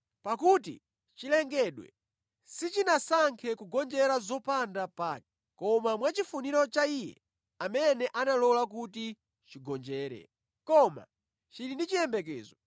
Pakuti chilengedwe sichinasankhe kugonjera zopanda pake, koma mwachifuniro cha Iye amene analola kuti chigonjere. Koma chili ndi chiyembekezo